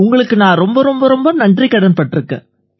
உங்களுக்கு நான் ரொம்ப ரொம்ப நன்றிக்கடன் பட்டிருக்கேன்